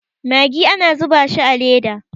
magi ana zuba shi a Leda